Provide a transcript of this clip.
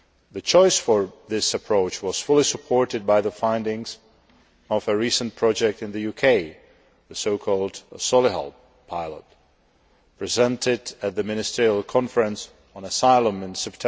The choice of this approach was fully supported by the findings of a recent project in the UK, the so called Solihull Pilot', presented at the ministerial conference on asylum in